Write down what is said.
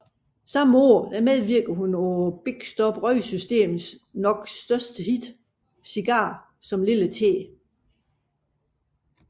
Samme år medvirkede hun på Bikstok Røgsystems nok største hit Cigar som Lille T